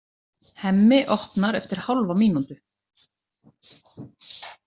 Hemmi opnar eftir hálfa mínútu.